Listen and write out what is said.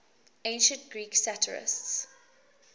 ancient greek satirists